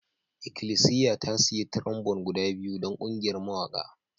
Ikilisiya ta sayi trombone guda biyu don ƙungiyar mawaƙa